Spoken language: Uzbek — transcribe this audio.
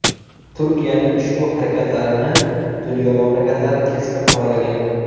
Turkiyaning ushbu harakatlarini dunyo mamlakatlari keskin qoralagan.